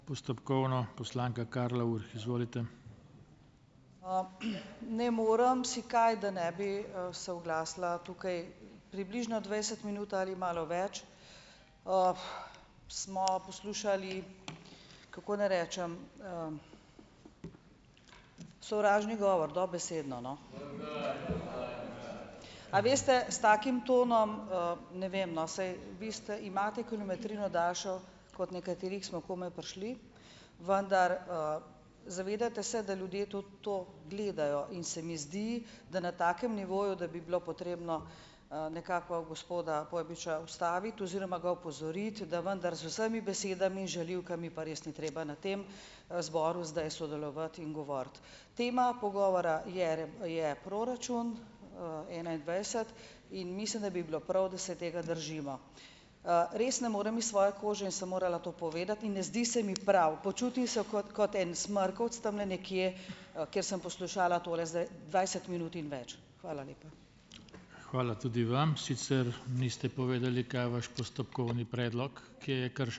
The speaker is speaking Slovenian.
Ne morem si kaj, da ne bi, se oglasila. Tukaj približno dvajset minut ali malo več, smo poslušali, kako naj rečem, sovražni govor dobesedno, no. A veste, s takim tonom, ne vem, no, saj vi ste imate kilometrino daljšo kot nekateri, ko smo komaj prišli, vendar, zavedajte se, da ljudje tudi to gledajo, in se mi zdi, da na takem nivoju, da bi bilo potrebno, nekako gospoda Pojbiča ustaviti oziroma ga opozoriti, da vendar z vsemi besedami, žaljivkami, pa res ni treba na tem, zboru zdaj sodelovati in govoriti. Tema pogovora je je proračun, enaindvajset in mislim, da bi bilo prav, da se tega držimo. Res ne morem iz svoje kože in sem morala to povedati in ne zdi se mi prav, počutim se kot kot en smrkavec tamle nekje, ker sem poslušala tole zdaj dvajset minut in več. Hvala lepa.